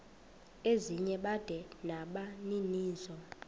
ezinye bada nabaninizo